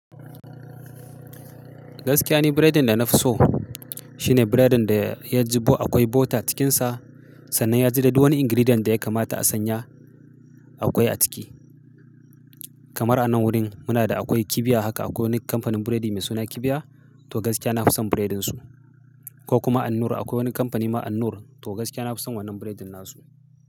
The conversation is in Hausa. Gaskiya ni biredin da na fi so shine biredin da ya jibo akwai butter cikin sa sannan ya ji dai. Wani ingredient da ya kamata a sanya akwai a ciki. Kamar anan wurin muna da akwai kibiya haka akwai wani kamfanin biredi mai suna kibiya to gaskiya na fi son biredin su ko kuma Annur akwai wani kamfani ma Annur to gaskiya na fi son wannan biredin nasu.